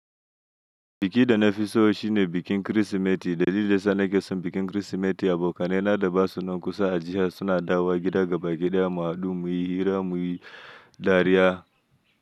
Biki da na fi so shi ne bikin Kirsimeti. Dalilin da yana ke son bikin Kirsimeti, abokanai na da ba su nan kusa a jiya suna dawowa gida gaba ɗaya mu haɗu muyi hira, muyi dariya.